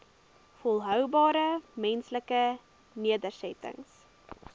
volhoubare menslike nedersettings